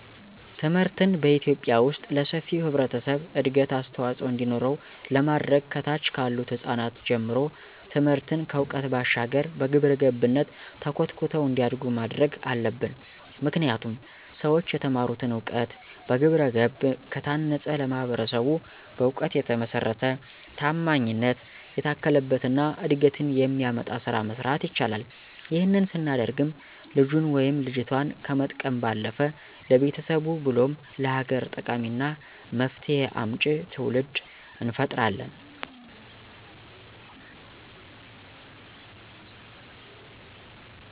ትምህርትን በኢትዮጲያ ዉስጥ ለሰፊው ህብረተሰብ እድገት አስተዋፅዖ እንዲኖረው ለማድረግ ከታች ካሉት ህጻናት ጀምሮ ትምህርትን ከዕውቀት ባሻገር በግብረገብነት ተኮትኩተው እንዲያድጉ ማድረግ አለብን። ምክንያቱም ሠዎች የተማሩትን እውቀት በግብረገብ ከታነፀ ለማህበረሰቡ በእውቀት የተመሰረተ፣ ታማኝነት የታከለበት እና እድገትን የሚያመጣ ስራ መስራት ይችላል። ይህንን ስናደርግም ልጁን ወይም ልጆቷን ከመጥቀም ባለፈ ለቤተሰብ ብሎም ለሀገር ጠቃሚና መፍትሄ አምጪ ትውልድ እንፈጥራለን።